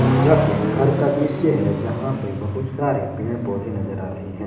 यह एक घर का दृश्य है जहां पे बहुत सारे पेड़ पौधे नजर आ रहे हैं।